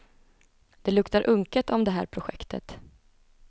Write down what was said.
Det luktar unket om det här projektet.